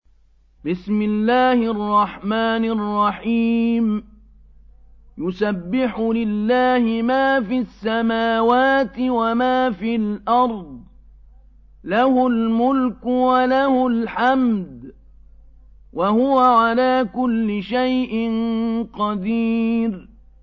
يُسَبِّحُ لِلَّهِ مَا فِي السَّمَاوَاتِ وَمَا فِي الْأَرْضِ ۖ لَهُ الْمُلْكُ وَلَهُ الْحَمْدُ ۖ وَهُوَ عَلَىٰ كُلِّ شَيْءٍ قَدِيرٌ